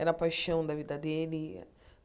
Era a paixão da vida dele.